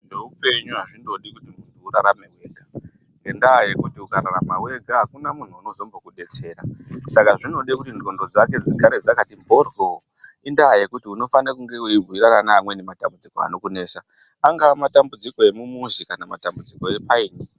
Zveupenyu azvindodi kuti muntu urarame ega, ngendaa yekuti ukararama wega, akuna muntu unombozokudetsera. Saka zvinode kuti ndxondo dzake dzigare dzakati mhoryo. Indaa yekuti unofane kunge wei bhuyirana neamweni matambudziko anokunesa. Angaa matambudziko emumuzi kana matambudziko epayini.